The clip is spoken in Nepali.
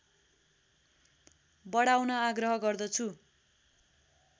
बढाउन आग्रह गर्दछु